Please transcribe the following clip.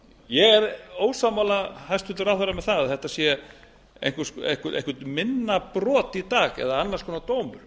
ég er ósammála hæstvirtur ráðherra með það að þetta sé eitthvert minna brot í dag eða annars konar dómur